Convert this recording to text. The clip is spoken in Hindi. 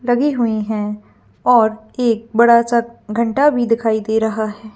लगी हुईं हैं और एक बड़ा सा घंटा भी दिखाई दे रहा है।